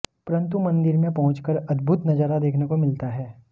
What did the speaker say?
परंतु मंदिर में पहुंच कर अद्भुत नजारा देखने को मिलता है